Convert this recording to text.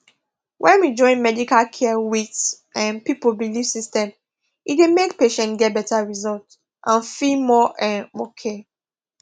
when we join medical care with um people belief system e dey make patients get better result and feel more um okay